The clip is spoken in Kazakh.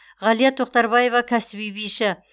ғалия тоқтарбаева кәсіби биші